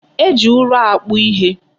E ji ụrọ akpụ ihe.